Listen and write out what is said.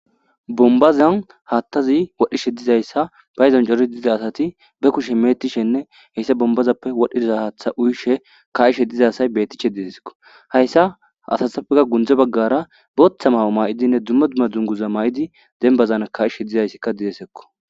bombazan haattazi wadhishe dizayssa bayizan jori diza asati be kushe meetishenne heyssa bombazappe wadhdhidiza haatha uyishe kayishe dizasay betiche dideskko hayssa asathapfeka gundze baggara booththa maho may7idinne dumma dumma dunguza may7idi denbazan kayishe dizayssikka didesekko